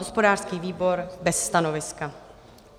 Hospodářský výbor - bez stanoviska.